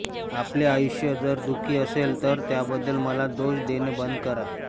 आपले आयुष्य जर दुःखी असेल तर त्याबद्दल मला दोष देणे बंद करा